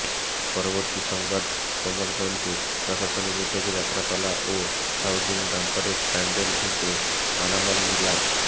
পূর্ববর্তী সংবাদকমলগঞ্জে প্রশাসনের উদ্যোগে যাত্রাপালা ও হাউজিং বাম্পারের প্যান্ডেল ভেঙ্গে মালামাল নিলাম